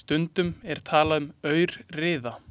Stundum er talað um aurriða.